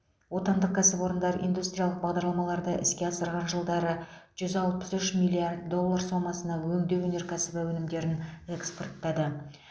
отандық кәсіпорындар индустриялық бағдарламаларды іске асырған жылдары жүз алпыс үш миллард доллар сомасына өңдеу өнеркәсібі өнімдерін экспорттады